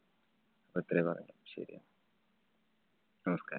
അപ്പൊ ഇത്രേ പറയാനുള്ളൂ. ശരി എന്നാ നമസ്കാരം.